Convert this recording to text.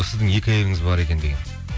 сіздің екі әйеліңіз бар екен деген